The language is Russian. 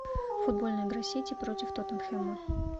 футбольная игра сити против тоттенхэма